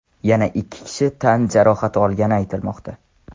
Yana ikki kishi tan jarohati olgani aytilmoqda.